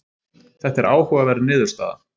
þetta er áhugaverð niðurstaða